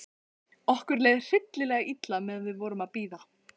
Okkur leið hræðilega illa meðan við vorum að bíða.